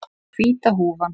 Hvíta húfan.